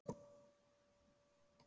Fjör hjá feðgunum